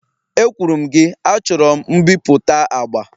Ekwuru m gị, achọrọ m mbipụta agba!